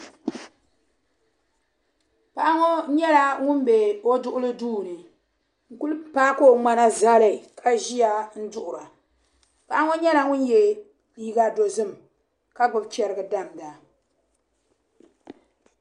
Paɣa ŋɔ nyɛla ŋun be o duɣili duu ni n-kuli paaki o ŋmana zali ka ʒia n-duɣira. Paɣa ŋɔ nyɛla ŋun ye liiga dozim ka gbibi chɛriga damda.